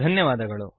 ಧನ್ಯವಾದಗಳು